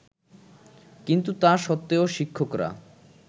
কিন্তু তা সত্ত্বেও শিক্ষকরা